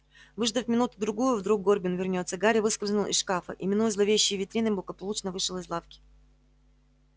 выждав минуту-другую вдруг горбин вернётся гарри выскользнул из шкафа и минуя зловещие витрины благополучно вышел из лавки